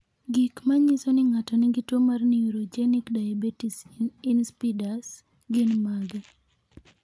Gik manyiso ni ng'ato nigi tuwo mar Neurogenic diabetes insipidus gin mage?